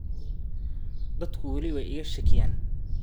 “Dadku wali way iga shakiyaan.